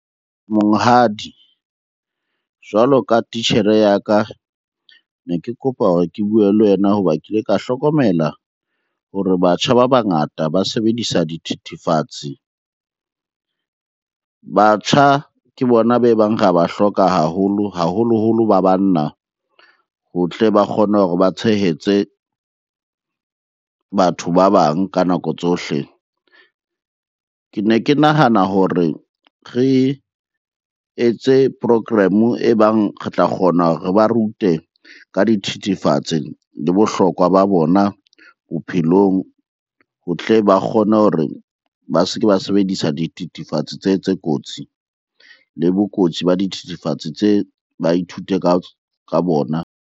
Monghadi, jwalo ka titjhere ya ka. Ne ke kopa hore ke bue le wena hoba ke ile ka hlokomela hore batjha ba bangata ba sebedisa dithethefatsi. Batjha ke bona be bang re ya ba hloka haholo, haholoholo ba banna ho tle ba kgone hore ba tshehetse batho ba bang ka nako tsohle. Ke ne ke nahana hore re etse program-o e bang re tla kgona hore re ba rute ka dithethefatsi le bohlokwa ba bona bophelong ho tle ba kgone hore ba se ke ba sebedisa dithethefatsi tse, tse kotsi. Le bokotsi ba dithethefatsi tse ba ithute ka bona.